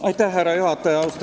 Austatud härra juhataja!